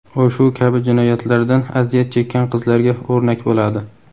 u shu kabi jinoyatlardan aziyat chekkan qizlarga o‘rnak bo‘ladi.